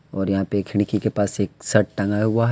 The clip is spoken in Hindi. और यहां पर खिड़की के पास एक शर्ट टांगा हुआ है।